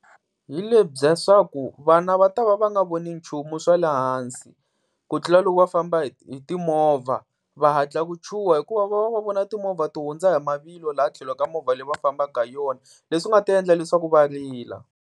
Hi lebya swaku vana va ta va va nga voni nchumu swa le hansi, ku tlula loko va famba hi hi timovha, va hatla ku chuha hikuva va va va vona timovha ti hundza hi mavilo laha tlhelo ka movha leyi va fambaka hi yona, leswi nga ta endla leswaku va rila.